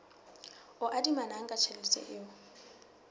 o adimanang ka tjhelete o